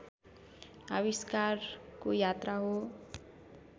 आविष्कारको यात्रा हो